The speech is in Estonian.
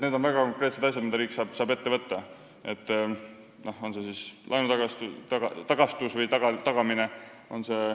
Need on väga konkreetsed asjad, mida riik saab ette võtta, näiteks laenu tagamine.